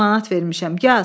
3000 manat vermişəm.